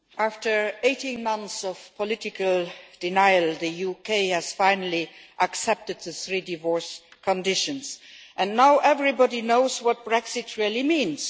Madam President, after 18 months of political denial, the UK has finally accepted the three divorce conditions and now everybody knows what Brexit really means.